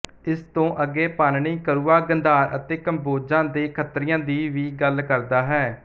ਇਸ ਤੋਂ ਅੱਗੇ ਪਾਣਿਨੀ ਕੁਰੂਆਂ ਗੰਧਾਰ ਅਤੇ ਕੰਬੋਜਾਂ ਦੇ ਖੱਤਰੀਆਂ ਦੀ ਵੀ ਗੱਲ ਕਰਦਾ ਹੈ